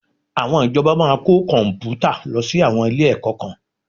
Àwọn ìjọba máa kó Kọ̀m̀pútà lọ sí àwọn ilé-ẹ̀kọ́ kan